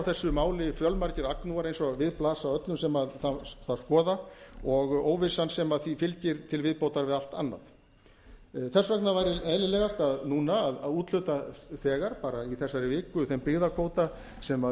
þessu máli fjölmargir agnúar eins og við blasa öllum sem það skoða og óvissan sem því fylgir til viðbótar við allt annað þess vegna væri eðlilegast núna að úthluta þegar bara í þessari viku þeim byggðakvóta sem